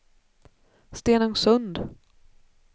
Stenungsund